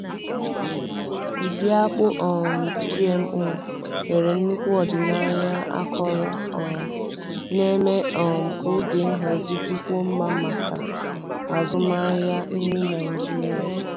Ụdị akpụ um GMO nwere nnukwu ọdịnaya akọrọ um na-eme um ka ogo nhazi dịkwuo mma maka azụmahịa nri Naijiria.